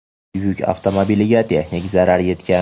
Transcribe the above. Yuk avtomobiliga texnik zarar yetgan.